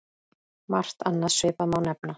Margt annað svipað má nefna.